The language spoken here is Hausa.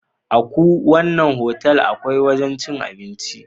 Aku wanna hotel akwai wajan cin abinci